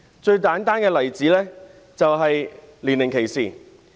最簡單的例子是年齡歧視。